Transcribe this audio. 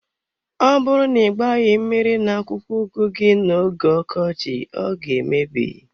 Ọ bụrụ na ị gbaghi mmiri na akwụkwọ ugu gi na oge ọkọchị ọ ga emebi.